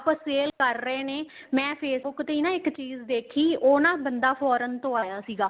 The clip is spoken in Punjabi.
sale ਕਰ ਰਹੇ ਨੇ ਮੈਂ Facebook ਤੇ ਨਾ ਇੱਕ ਚੀਜ਼ ਦੇਖੀ ਉਹ ਨਾ ਬੰਦਾ foreign ਤੋ ਆਇਆ ਸੀਗਾ